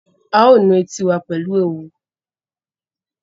A ó nu etí wa pẹ̀lú òwú